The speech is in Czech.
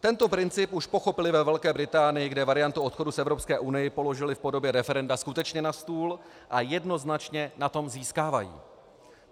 Tento princip už pochopili ve Velké Británii, kde variantu odchodu z Evropské unie položili v podobě referenda skutečně na stůl a jednoznačně na tom získávají.